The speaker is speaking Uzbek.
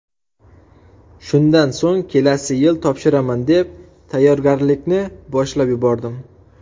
Shundan so‘ng kelasi yil topshiraman deb, tayyorgarlikni boshlab yubordim.